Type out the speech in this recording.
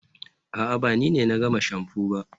a'a, ba ni ne na gama shamfu ba